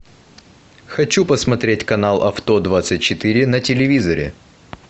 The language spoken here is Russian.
хочу посмотреть канал авто двадцать четыре на телевизоре